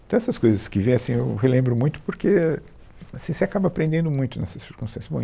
Então, essas coisas que vêm, assim, eu relembro muito porque, é, assim você acaba aprendendo muito nessas circunstâncias, bom